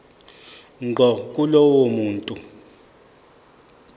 ngqo kulowo muntu